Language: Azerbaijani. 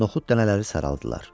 Noxud dənələri saraldılar.